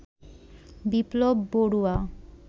Biplab Barua